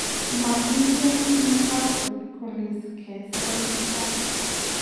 Mokigei Newcastle golisiek si kotestai.